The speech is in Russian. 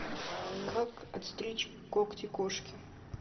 как отстричь когти кошке